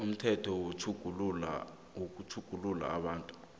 umthetho wamatjhuguluko wabantu